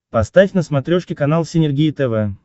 поставь на смотрешке канал синергия тв